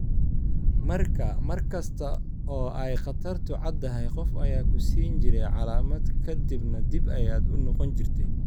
Markaa mar kasta oo ay khatartu caddahay qof ayaa ku siin jiray calaamad ka dibna dib ayaad u noqon jirtay.